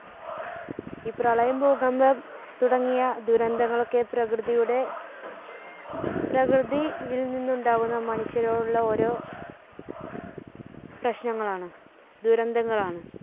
ഈ പ്രളയം, ഭൂകമ്പം തുടങ്ങിയ ദുരന്തങ്ങളൊക്കെ പ്രകൃതിയുടെ, പ്രകൃതി~യിൽ നിന്നുണ്ടാവുന്ന മനുഷ്യരോടുള്ള ഓരോ പ്രശ്നങ്ങളാണ് ദുരന്തങ്ങളാണ്.